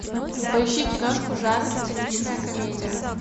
поищи киношку жанр циничная комедия